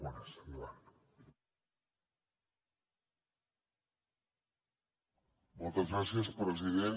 moltes gràcies president